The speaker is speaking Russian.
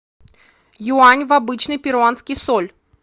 юань в обычный перуанский соль